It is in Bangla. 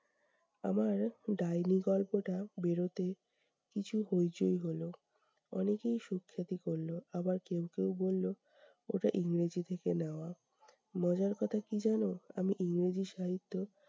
আমার ডাইনি গল্পটা বেরোতে কিছু হইচই হলো। অনেকেই সুখ্যাতি করলো, আবার কেউ কেউ বললো ওটা ইংরেজি থেকে নেওয়া। মজার কথা কী জানো? আমি ইংরেজি সাহিত্য